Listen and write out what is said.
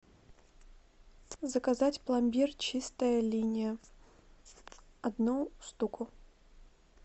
заказать пломбир чистая линия одну штуку